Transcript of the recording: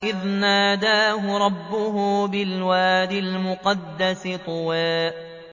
إِذْ نَادَاهُ رَبُّهُ بِالْوَادِ الْمُقَدَّسِ طُوًى